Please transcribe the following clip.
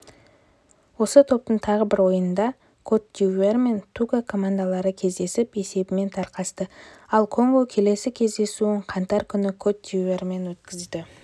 осы топтың тағы бір ойынында кот-дивуар мен того командалары кездесіп есебімен тарқасты ал конго келесі кездесуін қаңтар күні кот-дивуармен өткізеді